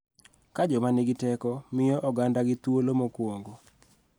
Ka joma nigi teko miyo ogandagi thuolo mokuongo.